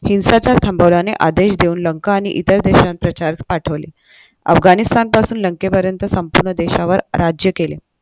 हिंसाचार थांबवल्याने आदेश देऊन लंका आणि इतर देशांत प्रचारक पाठवले अफगाणिस्थानपासून लंकेपर्यंत संपूर्ण देशावर राज्य केले.